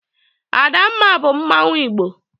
Adamma bu Mmanwu igbo.